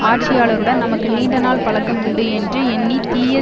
ஆட்சியாளருடன் நமக்கு நீண்ட நாள் பழக்கம் உண்டு என்று எண்ணி தீய